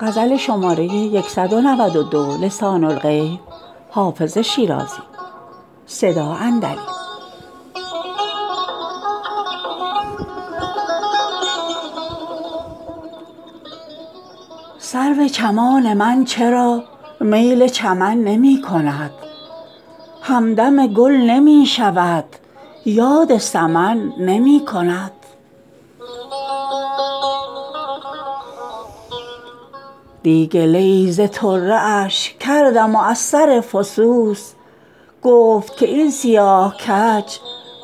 سرو چمان من چرا میل چمن نمی کند همدم گل نمی شود یاد سمن نمی کند دی گله ای ز طره اش کردم و از سر فسوس گفت که این سیاه کج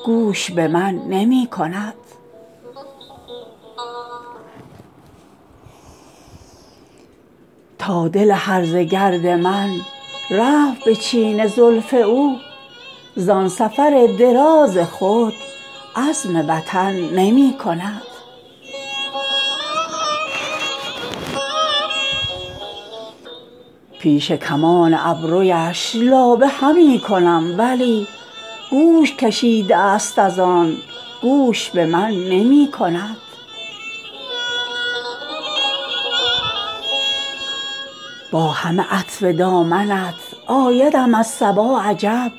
گوش به من نمی کند تا دل هرزه گرد من رفت به چین زلف او زان سفر دراز خود عزم وطن نمی کند پیش کمان ابرویش لابه همی کنم ولی گوش کشیده است از آن گوش به من نمی کند با همه عطف دامنت آیدم از صبا عجب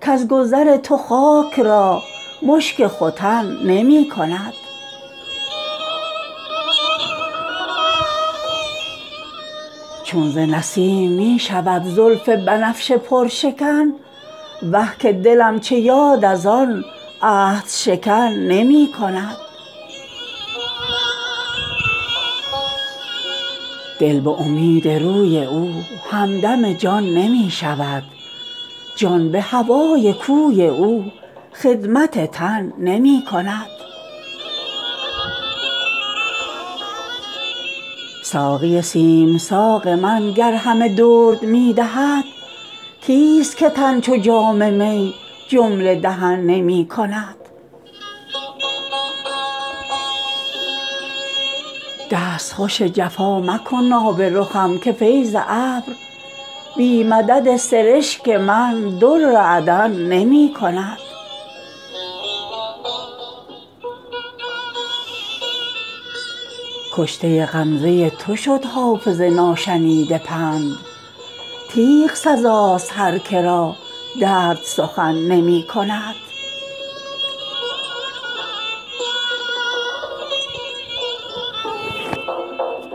کز گذر تو خاک را مشک ختن نمی کند چون ز نسیم می شود زلف بنفشه پرشکن وه که دلم چه یاد از آن عهدشکن نمی کند دل به امید روی او همدم جان نمی شود جان به هوای کوی او خدمت تن نمی کند ساقی سیم ساق من گر همه درد می دهد کیست که تن چو جام می جمله دهن نمی کند دستخوش جفا مکن آب رخم که فیض ابر بی مدد سرشک من در عدن نمی کند کشته غمزه تو شد حافظ ناشنیده پند تیغ سزاست هر که را درد سخن نمی کند